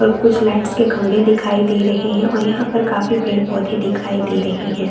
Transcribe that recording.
और कुछ लाइटस के खंभे दिखाई दे रहें हैं ओर यहाँ पर काफी पेड़ -पोधें दिखाई दे रहें हैं।